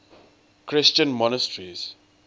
christian monasteries